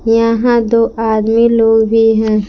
यहां दो आदमी लोग भी है।